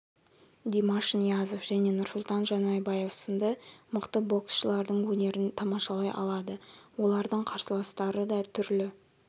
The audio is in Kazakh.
димаш ниязов жне нұрсұлтан жанайбаев сынды мықты боксшылардың өнерін тамашалай алады олардың қарсыластары да түрлі